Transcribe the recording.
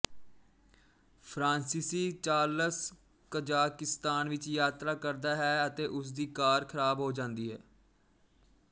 ਫਰਾਂਸੀਸੀ Charles Kazakhstan ਵਿੱਚ ਯਾਤਰਾ ਕਰਦਾ ਹੈ ਅਤੇ ਉਸ ਦੀ ਕਾਰ ਖਰਾਬ ਹੋ ਜਾਂਦੀ ਹੈ